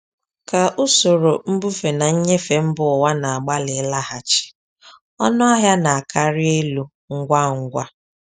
Ka usoro mbufe na nnyefe mba ụwa na-agbalị ịlaghachi, ọnụ ahịa na-akarị elu ngwa ngwa.